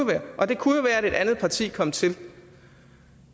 være og det kunne være at et andet parti kom til